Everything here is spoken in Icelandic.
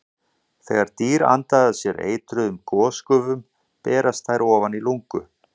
Þegar dýr anda að sér eitruðum gosgufum berast þær ofan í lungu.